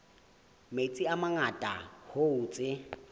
metsi a mangata hoo tse